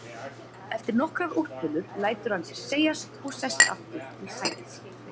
Eftir nokkrar úrtölur lætur hann sér segjast og sest aftur í sæti sitt.